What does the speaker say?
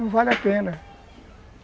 Não vale a pena.